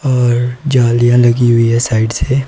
और जालियां लगी हुई है साइड से।